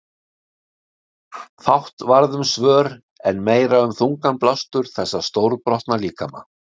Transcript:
Fátt varð um svör en meira um þungan blástur þessa stórbrotna líkama.